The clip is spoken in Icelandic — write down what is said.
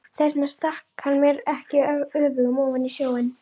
Þess vegna stakk hann mér ekki öfugum ofan í snjóinn.